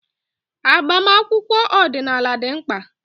Agbamakwụkwọ ọdịnala dị mkpa.